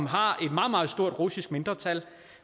har et meget meget stort russisk mindretal